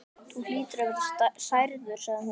Þú hlýtur að vera særður sagði hún.